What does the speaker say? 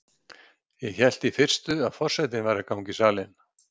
Ég hélt í fyrstu að forsetinn væri að ganga í salinn.